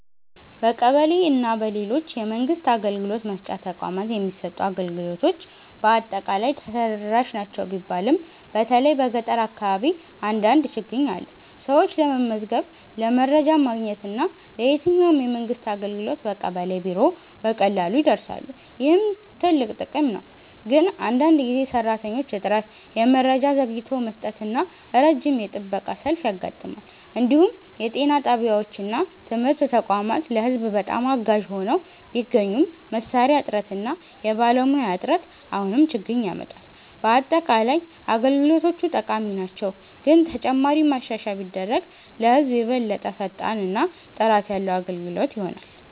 በቀበሌ እና በሌሎች የመንግስት አገልግሎት መስጫ ተቋማት የሚሰጡ አገልግሎቶች በአጠቃላይ ተደራሽ ናቸው ቢባልም በተለይ በገጠር አካባቢ አንዳንድ ችግኝ አለ። ሰዎች ለመመዝገብ፣ ለመረጃ ማግኘት እና ለየትኛውም የመንግስት አገልግሎት በቀበሌ ቢሮ በቀላሉ ይደርሳሉ፣ ይህም ትልቅ ጥቅም ነው። ግን አንዳንድ ጊዜ የሰራተኞች እጥረት፣ የመረጃ ዘግይቶ መስጠት እና ረጅም የጥበቃ ሰልፍ ያጋጥማል። እንዲሁም የጤና ጣቢያዎች እና ትምህርት ተቋማት ለህዝብ በጣም አጋዥ ሆነው ቢገኙም መሳሪያ እጥረት እና የባለሙያ እጥረት አሁንም ችግኝ ያመጣል። በአጠቃላይ አገልግሎቶቹ ጠቃሚ ናቸው፣ ግን ተጨማሪ ማሻሻያ ቢደረግ ለህዝብ የበለጠ ፈጣን እና ጥራት ያለ አገልግሎት ይሆናል።